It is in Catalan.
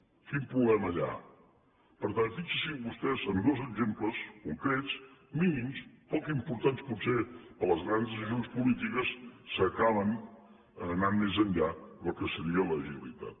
quin problema hi ha per tant fixin s’hi vostès en dos exemples concrets mínims poc importants potser per a les grans decisions polítiques s’acaba anant molt més enllà del que seria l’agilitat